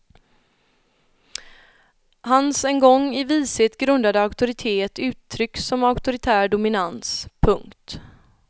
Hans en gång i vishet grundade auktoritet uttrycks som auktoritär dominans. punkt